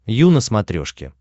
ю на смотрешке